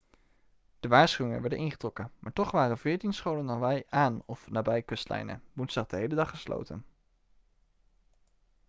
de waarschuwingen werden ingetrokken maar toch waren veertien scholen in hawaï aan of nabij kustlijnen woensdag de hele dag gesloten